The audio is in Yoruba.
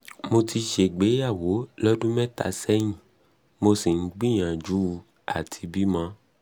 mo ti ṣègbéyàwó lọ́dún mẹ́ta sẹ́yìn mo sì ń gbìyànjú àti bímọ